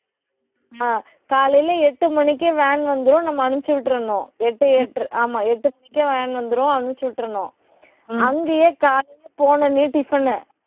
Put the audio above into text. ஆஹ் காலையில எட்டு மணிக்கு, van வந்துரும். நம்ம அனுப்பிச்சு விட்டறணும். எட்டு, எட்ட~ ஆமா எட்டு மணிக்கே van வந்துரும். அனுப்பிச்சு விட்டறணும். அங்கயே போன உடனே டிபன்னு